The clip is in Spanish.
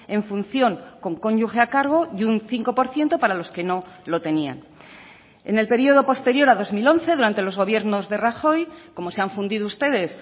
en función con cónyuge a cargo y un cinco por ciento para los que no lo tenían en el periodo posterior a dos mil once durante los gobiernos de rajoy como se han fundido ustedes